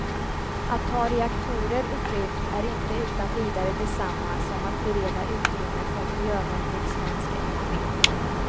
Att ta reaktorer ur drift är inte utan vidare detsamma som att bereda utrymme för miljövänlig svensk energi.